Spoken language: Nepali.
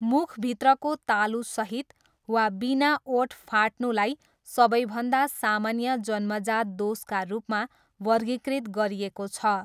मुखभित्रको तालुसहित वा बिना ओठ फाट्नुलाई सबैभन्दा सामान्य जन्मजात दोषका रूपमा वर्गीकृत गरिएको छ।